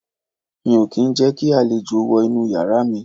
Mi ò kí ń jẹ́ kí àlejò wọ inú yàrá mi